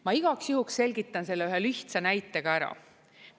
Ma igaks juhuks selgitan selle ühe lihtsa näitega ära.